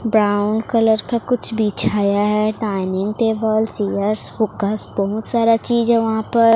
Brown colour का कुछ बिछाया है डाइनिंग टेबल चेयर्स बहुत सारा चीज है वहां पर।